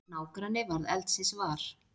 Nágranni varð eldsins var.